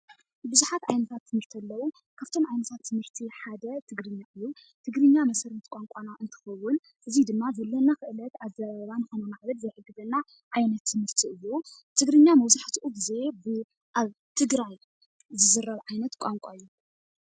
ብዙሓት ዓይነታት ትምህርቲ ኣለው ካብቶም ሓደ ትግርኛ እዩ፡፡ ትግርኛ መሰረት ቋንቋና እንትከውን እዚ ድማ ዘለና ክእለት ኣዘራርባ ከማዕብል ዝክእል ዘክእለና ዓይነት ትምህርቲ እዩ፡፡ እዚ ድማ መብዛሕትኡ ግዜ ኣብ ትግራይ ዝዝረብ ዓይነት ቋንቋ እዩ፡፡